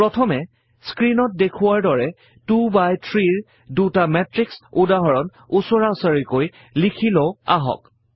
প্ৰথমে স্ক্ৰীণত দেখুওৱাৰ দৰে 2 বাই 3 -ৰ দুটা মেত্ৰিক্সৰ উদাহৰণ উচৰাউচৰিকৈ লিখি লও আহক